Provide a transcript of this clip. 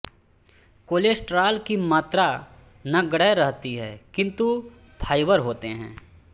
cholesterol की मात्रा नगण्य रहती है किन्तु फाइबर होते हैं